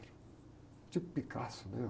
Tipo Picasso, né?